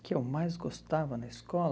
O que eu mais gostava na escola?